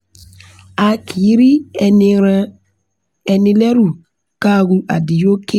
a kì í rí ẹni ràn ní lẹ́rù ká ru adúyókè